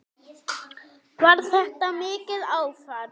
Var þetta mikið áfall?